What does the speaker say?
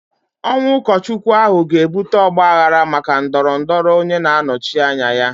Ọnwụ ụkọchukwu ahụ ga-ebute ọgbaaghara maka ndọrọ ndọrọ onye ga-anọchi anya ya.